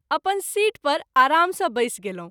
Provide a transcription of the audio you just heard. अपन सीट पर आराम सँ बैस गेलहुँ।